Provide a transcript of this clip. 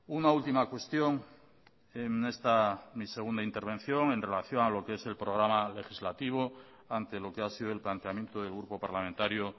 una última cuestión en esta mi segunda intervención en relación a lo que es el programa legislativo ante lo que ha sido el planteamiento del grupo parlamentario